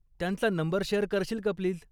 त्यांचा number share करशील का प्लीज?